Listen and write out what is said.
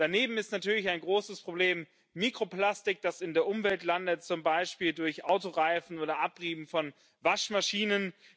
Daneben ist natürlich ein großes Problem Mikroplastik, das in der Umwelt landet, zum Beispiel durch Autoreifen oder Abrieb von Waschmaschinen.